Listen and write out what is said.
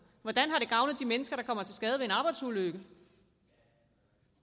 hvordan har det gavnet de mennesker der kommer til skade ved en arbejdsulykke